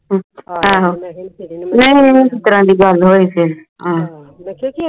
ਆਹੋ ਇਹ ਫੇਰ ਕਿਸ ਤਰ੍ਹਾਂ ਦੀ ਗੱਲ ਹੋਈ ਫੇਰ ਆਹੋ